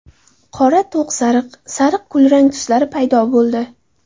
Qora, to‘q sariq, sariq, kulrang tuslari paydo bo‘ldi.